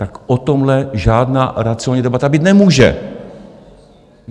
Tak o tomhle žádná racionální debata být nemůže.